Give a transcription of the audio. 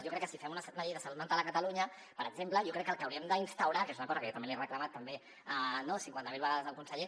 jo crec que si fem una llei de salut mental a catalunya per exemple jo crec que el que hauríem d’instaurar que és una cosa que jo també li he reclamat cinquanta mil vegades al conseller